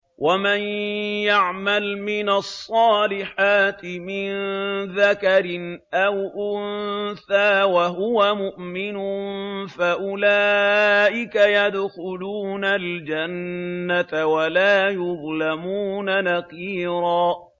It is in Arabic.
وَمَن يَعْمَلْ مِنَ الصَّالِحَاتِ مِن ذَكَرٍ أَوْ أُنثَىٰ وَهُوَ مُؤْمِنٌ فَأُولَٰئِكَ يَدْخُلُونَ الْجَنَّةَ وَلَا يُظْلَمُونَ نَقِيرًا